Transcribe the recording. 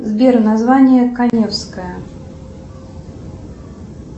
сбер название каневская